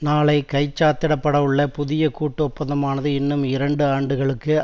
நாளை கைச்சாத்திடப்படவுள்ள புதிய கூட்டு ஒப்பந்தமானது இன்னும் இரண்டு ஆண்டுகளுக்கு